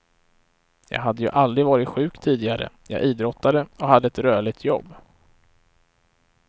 Jag hade ju aldrig varit sjuk tidigare, jag idrottade och hade ett rörligt jobb.